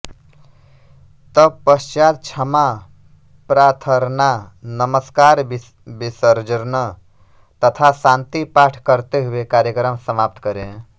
तत्पश्चात् क्षमा प्राथर्ना नमस्कार विसजर्न तथा शान्ति पाठ करते हुए कार्यक्रम समाप्त करें